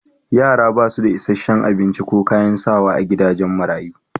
Yara ba su da isashen abinci ko kayan sawa a gidajen marayu